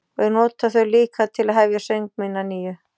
Og ég nota þau líka til að hefja söng minn að nýju.